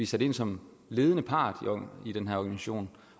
sat ind som ledende part i den her mission